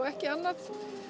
ekki annað